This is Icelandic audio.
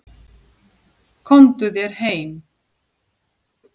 Komdu þér heim!